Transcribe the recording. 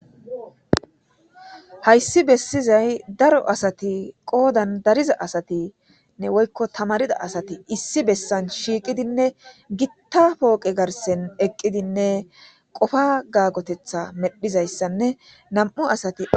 hayssi bessizay daro asati qoodan dariza asatinne woykko tamarida asati issi bessan shiiqidinne gitta pooqe garsen eqqidinne qofa gaagotetha medhizayssanne nam7u asati